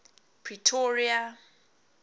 pretoria